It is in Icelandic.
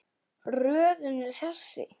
Röðin er þessi